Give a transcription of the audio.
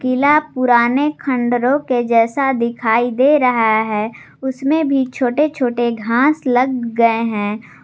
किला पुराने खंडरों के जैसा दिखाई दे रहा है उसमें भी छोटे छोटे घास लग गए हैं।